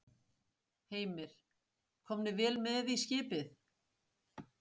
Heimir: Komnir vel með í skipið?